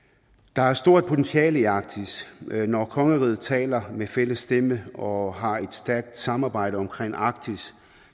der er et stort potentiale i arktis når kongeriget taler med fælles stemme og har et stærkt samarbejde omkring arktis